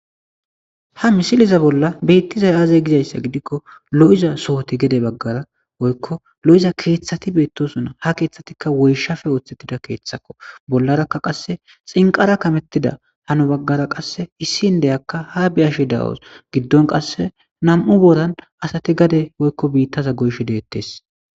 Ha misiliza bolla beittiza aaze gizayssa gidikko lo'iza sohoti gede baggara woykko lo'iza keeththati beettosuna ha keeththatikka woyshafe ooththettida keeththakko bollarakka qasse xinqara kamettida hano baggara qasse issin deyakka ha biyashi dawos giddon qasse nam'u boran asati gade woykko biittaza goysho deettes.